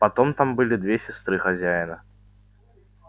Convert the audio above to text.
потом там были две сестры хозяина